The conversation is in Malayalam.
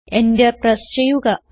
Enter പ്രസ് ചെയ്യുക